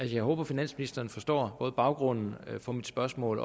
jeg håber at finansministeren forstår både baggrunden for mit spørgsmål